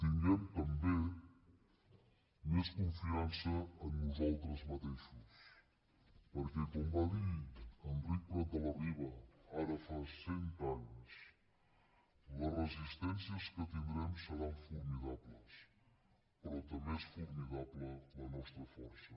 tinguem també més confiança en nosaltres mateixos perquè com va dir enric prat de la riba ara fa cent anys les resistències que tindrem seran formidables però també és formidable la nostra força